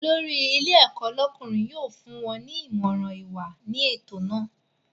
Olórí ilé ẹ̀kọ́ lọ́kùnrin yóò fún wọ́n ní Ìmọ̀ràn ìwà ní ètò naa